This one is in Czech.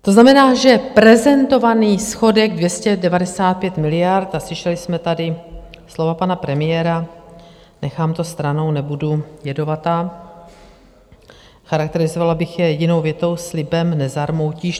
To znamená, že prezentovaný schodek 295 miliard, a slyšeli jsme tady slova pana premiéra - nechám to stranou, nebudu jedovatá - charakterizovala bych je jedinou větou: Slibem nezarmoutíš.